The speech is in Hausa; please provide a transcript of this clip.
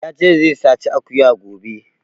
Ya ce zai saci akuya gobe